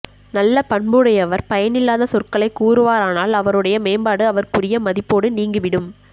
நல்ல பண்புடையவர் பயனில்லாத சொற்களைக் கூறுவாரானால் அவருடைய மேம்பாடு அவர்க்குரிய மதிப்போடு நீங்கி விடும்